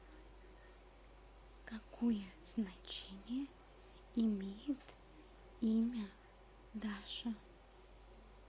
какое значение имеет имя даша